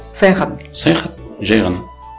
саяхат саяхат жай ғана